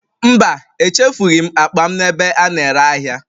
Mba, echefughị ​​m akpa m n'ebe a na-ere ahịa